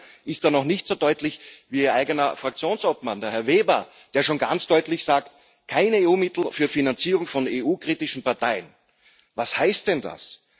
Frau Hübner ist da noch nicht so deutlich wie ihr eigener Fraktionsobmann, Herr Weber, der schon ganz deutlich sagt keine EU Mittel für die Finanzierung von EU kritischen Parteien. Was heißt denn das?